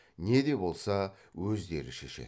не де болса өздері шешеді